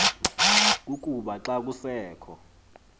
kukuba xa kusekho